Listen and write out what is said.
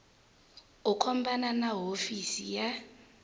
u khumbana na hofisi ya